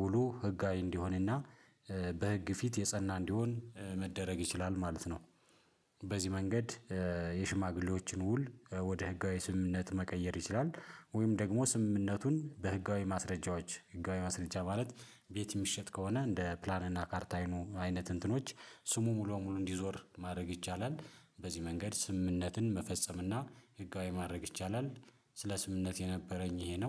ውሉ ህጋዊ እንዲሆንና በህግ ፊት የጸና እንዲሆን መደረግ ይችላል ማለት ነው። በዚህ መንገድ የሽማግሌዎችን ውል ወደ ህጋዊ ስምምነት መቀየር ይችላል። ወይም ደግሞ ስምምነቱን በህጋዊ ማስረጃዎች ህጋዊ ማስረጃ ማለት ቤት የሚሸጥ ከሆነ እንደ ፕላን እና ካርታ አይነት እንትኖች ስሙ ሙሉ ሙሉ እንዲዞር ማድረግ ይቻላል። በዚህ መንገድ ስምምነትን መፈጸምና ህጋዊ ማድረግ ይቻላል። ስለ ስምምነት የነበረኝ ይሄ ነው